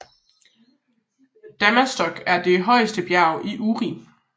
Dammastock er det højeste bjerg i Uri